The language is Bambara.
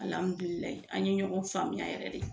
Alamdulilaye an ye ɲɔgɔn faamuya yɛrɛ de.